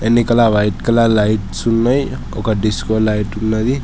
ఎనికల white colour lights ఉన్నాయ్ ఒక disco light ఉన్నది.